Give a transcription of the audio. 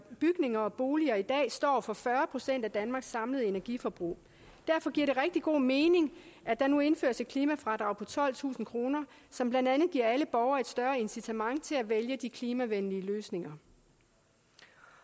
bygninger og boliger i dag står for fyrre procent af danmarks samlede energiforbrug derfor giver det rigtig god mening at der nu indføres et klimafradrag på tolvtusind kr som blandt andet giver alle borgere et større incitament til at vælge de klimavenlige løsninger